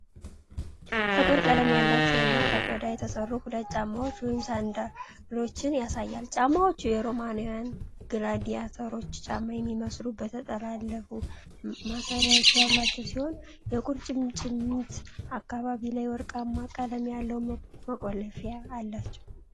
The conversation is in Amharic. ጥቁር ቀለም ያላቸው እና ከቆዳ የተሠሩ ሁለት ጫማዎችን (ሳንዳሎችን) ያሳያል። ጫማዎቹ የሮማውያንን ግላዲያተሮች ጫማ የሚመስል የተጠላለፉ ማሰሪያዎች ያሏቸው ሲሆን፤ የቁርጭምጭሚት አካባቢ ላይ ወርቃማ ቀለም ያለው መቆለፊያ አላቸው።